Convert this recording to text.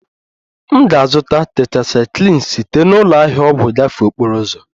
M ga-azụta tetrasaikilin site na ụlọ ahịa ọgwụ gafee okporo ụzọ